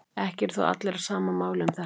Ekki eru þó allir á sama máli um þetta.